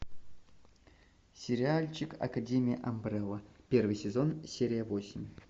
сериальчик академия амбрелла первый сезон серия восемь